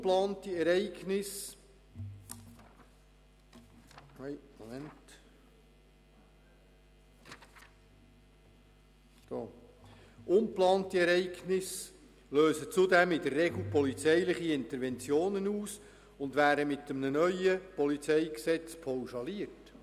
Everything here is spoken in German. Ungeplante Ereignisse lösen zudem in der Regel polizeiliche Interventionen aus und werden mit dem neuen PolG pauschaliert.